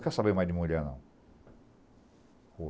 Não quero saber mais de mulher, não.